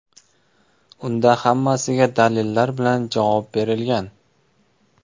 Unda hammasiga dalillar bilan javob berilgan.